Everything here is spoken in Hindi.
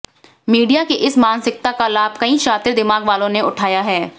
मीडिया की इस मानसिकता का लाभ कई शातिर दिमाग वालों ने उठाया है